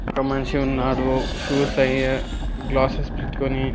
ఒక మనిషి ఉన్నాడు షూస్ అయి గ్లాసెస్ పెట్కొని.